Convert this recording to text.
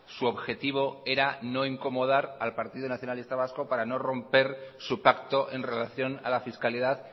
su objetivo era no incomodar al partido nacionalista vasco para no romper su pacto en relación a la fiscalidad